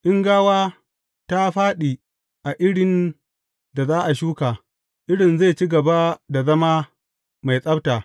In gawa ta fāɗi a irin da za a shuka, irin zai ci gaba da zama mai tsabta.